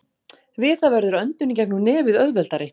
Við það verður öndun í gegnum nefið auðveldari.